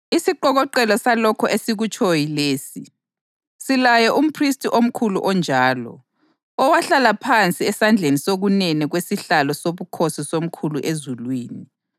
Isiqokoqela salokho esikutshoyo yilesi: Silaye umphristi omkhulu onjalo, owahlala phansi esandleni sokunene kwesihlalo sobukhosi soMkhulu ezulwini,